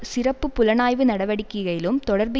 சிறப்பு புலனாய்வு நடவடிக்கையிலும் தொடர்பு